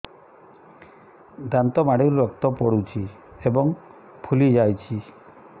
ଦାନ୍ତ ମାଢ଼ିରୁ ରକ୍ତ ପଡୁଛୁ ଏବଂ ଫୁଲି ଯାଇଛି